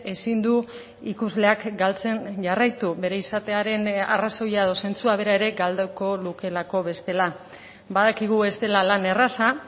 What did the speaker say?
ezin du ikusleak galtzen jarraitu bere izatearen arrazoia edo zentzua bera ere galduko lukelako bestela badakigu ez dela lan erraza